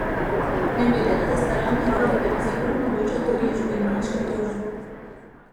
Ne glede na zastaralne roke pa bi zakon omogočal tudi odškodninsko tožbo.